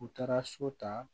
U taara so ta